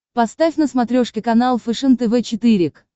поставь на смотрешке канал фэшен тв четыре к